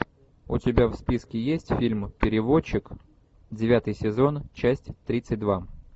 у тебя в списке есть фильм переводчик девятый сезон часть тридцать два